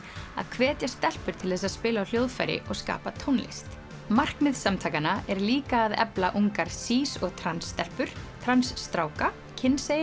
að hvetja stelpur til þess að spila á hljóðfæri og skapa tónlist markmið samtakanna er líka að efla ungar sís og trans stelpur trans stráka